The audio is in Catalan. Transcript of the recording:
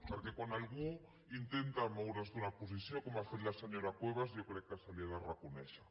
perquè quan algú intenta moure’s d’una posició com ha fet la senyora cuevas jo crec que se li ha de reconèixer